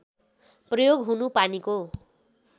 प्रयोग हुनु पानीको